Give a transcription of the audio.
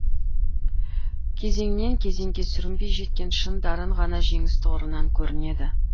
кезеңнен кезеңге сүрінбей жеткен шын дарын ғана жеңіс тұғырынан көрінеді